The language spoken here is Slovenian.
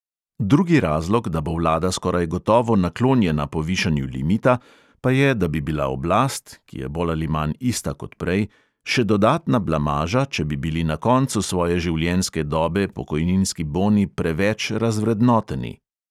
Drugi razlog, da bo vlada skoraj gotovo naklonjena povišanju limita, pa je, da bi bila oblast (ki je bolj ali manj ista kot prej) še dodatna blamaža, če bi bili na koncu svoje življenjske dobe pokojninski boni preveč razvrednoteni.